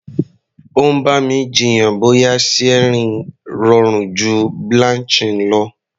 Ó ń bá mi jiyàn bóyá searing rọrùn ju blanching lọ.